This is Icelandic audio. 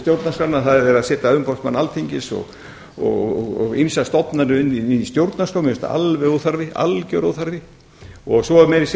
stjórnarskrána það er verið að setja umboðsmann alþingis og ýmsar stofnanir inn í stjórnarskrá mér finnst það alger óþarfi og svo er meira að segja